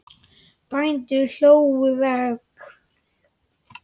Bændur hlóðu vegg.